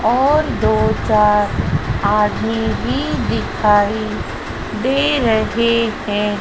और दो चार आदमी भी दिखाई दे रहे हैं।